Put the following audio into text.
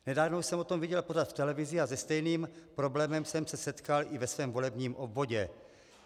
Nedávno jsem o tom viděl pořad v televizi a se stejným problémem jsem se setkal i ve svém volebním obvodě.